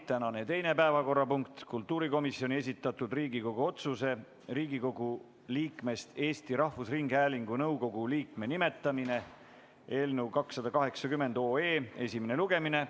Tänane teine päevakorrapunkt: kultuurikomisjoni esitatud Riigikogu otsuse "Riigikogu liikmest Eesti Rahvusringhäälingu nõukogu liikme nimetamine" eelnõu 280 esimene lugemine.